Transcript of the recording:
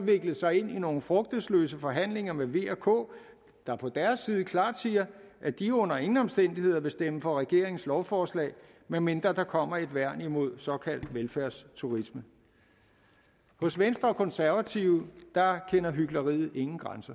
viklet sig ind i nogle frugtesløse forhandlinger med v og k der på deres side klart siger at de under ingen omstændigheder vil stemme for regeringens lovforslag medmindre der kommer et værn imod såkaldt velfærdsturisme hos venstre og de konservative kender hykleriet ingen grænser